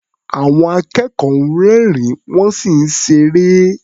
Àwọn akẹ́kọ̀ọ́ ń rẹ́rìn-ín, wọ́n sì ń ṣeré.